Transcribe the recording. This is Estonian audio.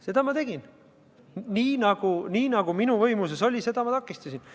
Seda ma tegin, nii nagu minu võimuses oli, seda ma takistasin.